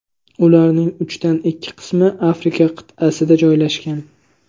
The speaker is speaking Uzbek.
Ularning uchdan ikki qismi Afrika qit’asida joylashgan.